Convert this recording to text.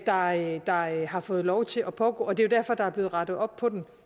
fejl der har fået lov til at pågå og det er jo derfor der er blevet rettet op på det